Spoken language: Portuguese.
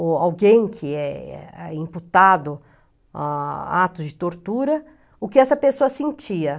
ou alguém que é imputado a atos de tortura, o que essa pessoa sentia.